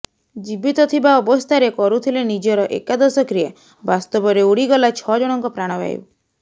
ଜୀବିତ ଥିବା ଅବସ୍ଥାରେ କରୁଥିଲେ ନିଜର ଏକାଦଶ କ୍ରିୟା ବାସ୍ତବରେ ଉଡିଗଲା ଛଅ ଜଣଙ୍କ ପ୍ରାଣବାୟୁ